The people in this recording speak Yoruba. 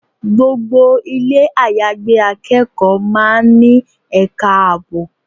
Gbogbo ilé àyágbé akẹ́kọ̀ọ́ máa ń ní ẹ̀ka ààbò.